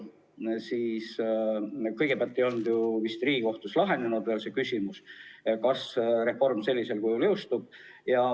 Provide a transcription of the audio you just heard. Vist ei olnud Riigikohtus veel lahendatud küsimus, kas reform sellisel kujul üldse jõustub.